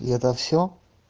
и это всё